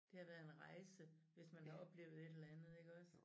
Det har været en rejse hvis man har oplevet et eller andet iggås